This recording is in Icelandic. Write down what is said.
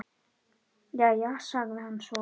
Jæja, sagði hann svo.